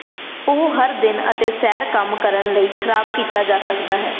ਉਹ ਹਰ ਦਿਨ ਅਤੇ ਸੈਰ ਕੰਮ ਕਰਨ ਲਈ ਖਰਾਬ ਕੀਤਾ ਜਾ ਸਕਦਾ ਹੈ